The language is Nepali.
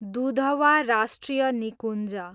दुधवा राष्ट्रिय निकुञ्ज